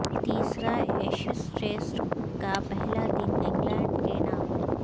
تیسرا Ashes Test کا پہلا دن انگلینڈ کے نام